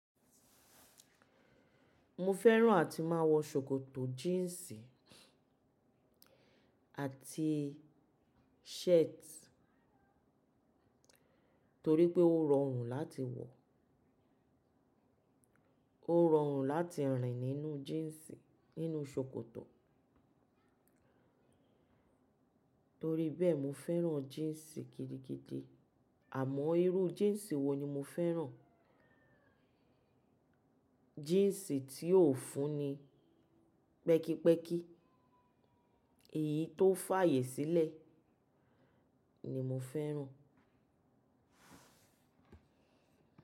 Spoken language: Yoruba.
Mo fẹ́ràn àti máa wọ ṣòkòtò jíǹsì àti shirt torí pé ó rọrùn láti wọ̀, ó rọrùn láti rìn nínú jíǹsì nínú ṣòkòtò. Torí bẹ́ẹ̀, mo fẹ́ràn jíǹsì gidigidi. Àmọ́ irú jíǹsì wo ni mo fẹ́ràn? Jíǹsì tí ó fúnni pẹ́kípẹ́kí èyí tó fàyè sílẹ̀ ni mo fẹ́ràn.